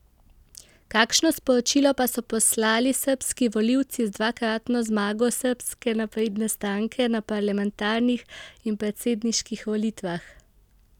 Kakšno sporočilo pa so poslali srbski volilci z dvakratno zmago Srbske napredne stranke na parlamentarnih in predsedniških volitvah?